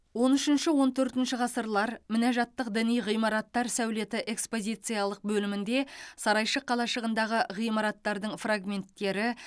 он үшінші он төртінші ғасырлар мінәжатттық діни ғимараттар сәулеті экспозициялық бөлімінде сарайшық қалашығындағы ғимараттардың фрагменттері